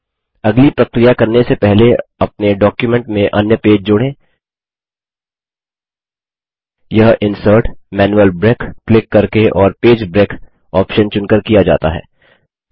यह insert GTGT manual break click करके और पेज ब्रेक ऑप्शन चुनकर किया जाता है